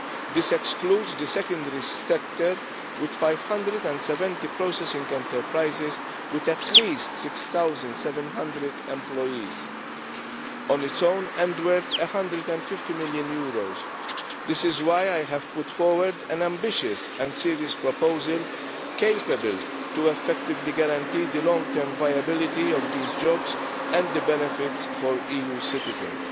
This excludes the secondary sector, with 570 processing enterprises with at least 6700 employees on its own and worth EUR 150 million. This is why I have put forward an ambitious and serious proposal, capable of effectively guaranteeing the long-term viability of these jobs and the benefits for EU citizens.